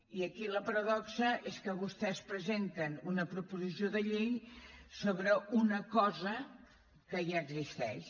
i aquí la paradoxa és que vostès presenten una proposició de llei sobre una cosa que ja existeix